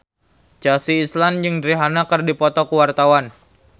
Chelsea Islan jeung Rihanna keur dipoto ku wartawan